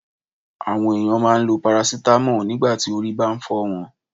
Àwọn ènìyàn máa n lo 'paracetamol' nígbàtí orí bá n fọ́ wọn